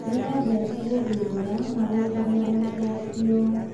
Nĩ eendete gũthuthuria na gũcaria macokio.